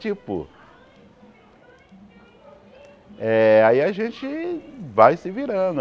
Tipo... Eh aí a gente vai se virando.